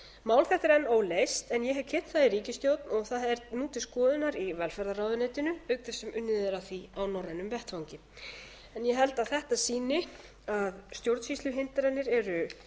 mál þetta er enn óleyst en ég hef kynnt það í ríkisstjórn og það nú til skoðunar í velferðarráðuneytinu auk þess sem unnið er að því á norrænum vettvangi ég held að þetta sýni að stjórnsýsluhindranir eru